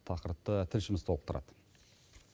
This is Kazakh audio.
тақырыпты тілшіміз толықтырады